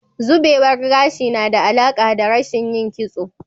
Zubewar gashi na da alaƙa da rashin yin kitso.